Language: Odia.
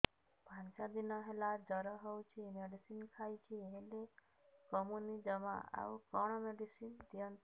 ପାଞ୍ଚ ଦିନ ହେଲା ଜର ହଉଛି ମେଡିସିନ ଖାଇଛି ହେଲେ କମୁନି ଜମା ଆଉ କଣ ମେଡ଼ିସିନ ଦିଅନ୍ତୁ